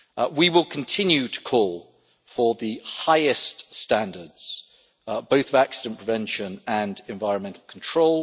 We will continue to call for the highest standards both of accident prevention and environmental control.